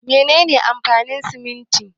Mene ne amfanin siminti?